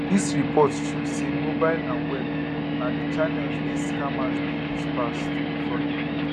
dis report show say mobile and web na di channels wey scammers dey use pass to defraud pipo